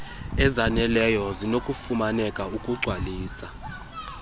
ezzaneleyo zinokufumaneka ukugcwalisa